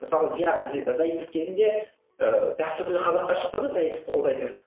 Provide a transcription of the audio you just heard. мысалы заитов кезінде ыыы дәстүрлі қазақтар шықты ғой заитовты қолдайтын